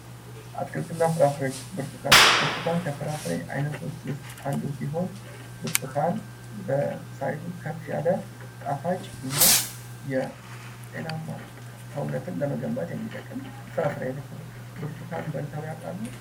አትክልትና ፍራፍሬዎች ብርቱካን ብርቱካን ከፍራፍሬ አይነቶች ውስጥ አንዱ ሲሆን በሳይዝ ከፍ ያለ ጣፋጭና ጤናማ ሰውነትን ለመገንባት የሚጠቅም የፍራፍሬ አይነት ነው። ብርቱካን በልተው ያውቃሉ?